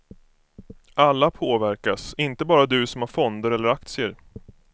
Alla påverkas, inte bara du som har fonder eller aktier.